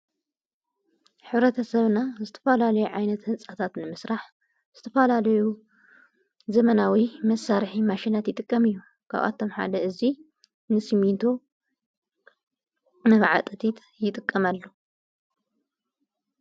ኅብረተሰብና ዝተፈላልዮ ዓይነት ሕንጻታት ንምሥራሕ ዝተፈላሌዩ ዘመናዊ መሳርሕ ማሽናት ይጥቀም እዩ ካብኣቶም ሓደ እዙይ ንስሚንቶ ነብዓ ጠቲት ይጥቀመሉ